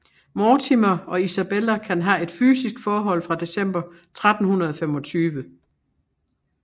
Mortimer og Isabella kan have et fysisk forhold fra december 1325